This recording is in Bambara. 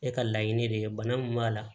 E ka laɲini de ye bana min b'a la